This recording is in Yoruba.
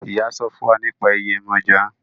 Iyá sọfún fún wá nípa Yemoja.